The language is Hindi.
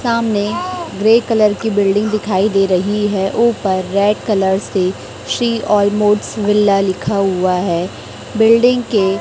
सामने ग्रे कलर की बिल्डिंग दिखाई दे रही है ऊपर रेड कलर से श्री ऑल मोड्स विला लिखा हुआ है बिल्डिंग के--